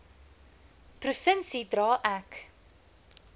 provinsie dra ek